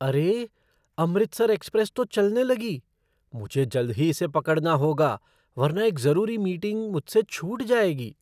अरे! अमृतसर एक्सप्रेस तो चलने लगी। मुझे जल्द ही इसे पकड़ना होगा, वरना एक ज़रूरी मीटिंग मुझसे छूट जाएगी!